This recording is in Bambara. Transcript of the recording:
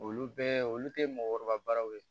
Olu bɛɛ olu tɛ mɔgɔkɔrɔbaw ye